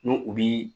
N'u u bii